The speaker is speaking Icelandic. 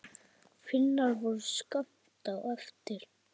Finnar voru skammt á eftir.